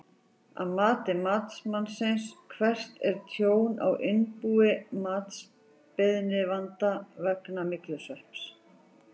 Að mati matsmanns, hvert er tjón á innbúi matsbeiðanda vegna myglusvepps?